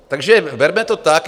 Takže berme to tak.